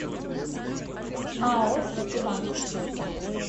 ао ситибанк